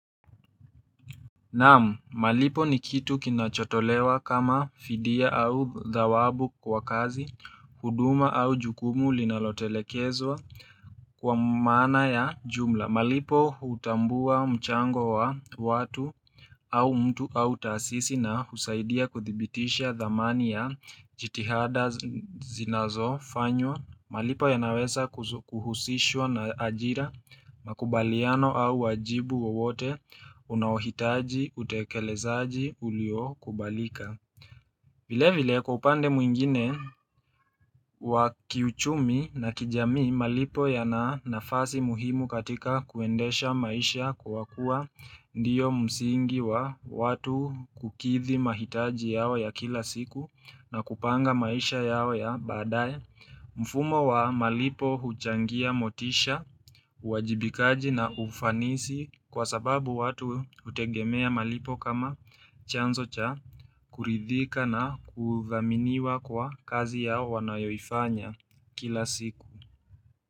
Naam, malipo ni kitu kinachotolewa kama fidia au dhawabu kwa kazi, huduma au jukumu linalotelekezwa kwa maana ya jumla. Malipo hutambua mchango wa watu au mtu au taasisi na husaidia kuthibitisha dhamani ya jitihada zinazo fanywa. Malipo ya naweza kuhusishwa na ajira, makubaliano au wajibu wawote, unawahitaji, utekelezaji, uliokubalika vile vile kwa upande mwingine wa kiuchumi na kijamii malipo yana nafasi muhimu katika kuendesha maisha kwa kuwa Ndio msingi wa watu kukithi mahitaji yao ya kila siku na kupanga maisha yao ya baadaye mfumo wa malipo huchangia motisha, uwajibikaji na ufanisi kwa sababu watu hutegemea malipo kama chanzo cha kuridhika na kuthaminiwa kwa kazi yao wanayoifanya kila siku.